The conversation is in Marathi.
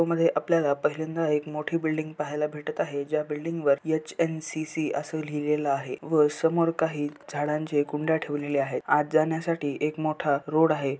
मध्ये आपल्याला पहिल्यांदा एक मोठी बिल्डिंग पहायला भेटत आहे ज्या बिल्डिंग वर एच_एन_सी_सी अस लिहिलेलं आहे व समोर काही झाडांचे कुंड्या ठेवलेले आहेत आत जाण्यासाठी एक मोठा रोड आहे.